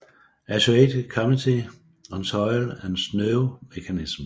Associate Committee on Soil and Snow Mechanics